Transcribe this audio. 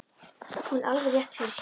Hún hefur alveg rétt fyrir sér.